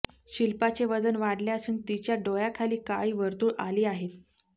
शिल्पाचे वजन वाढले असून तिच्या डोळ्याखाली काळी वर्तुळ आली आहेत